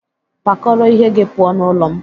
Pack your things and Leave my house!